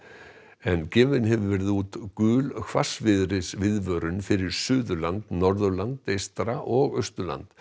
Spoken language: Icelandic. en gefin hefur verið út gul hvassviðris viðvörun fyrir Suðurland Norðurland eystra og Austurland